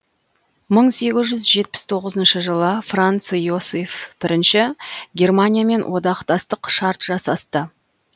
мың сегіз жүз жетпіс тоғызыншы жылы франц иосиф бірінші германиямен одақтастық шарт жасасты